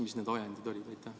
Mis need ajendid olid?